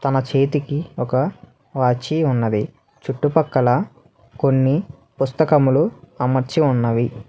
తన చేతికి ఒక వాచి ఉన్నది చుట్టుపక్కల కొన్ని పుస్తకములు అమర్చి ఉన్నవి.